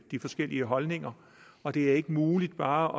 de forskellige holdninger og det er ikke muligt bare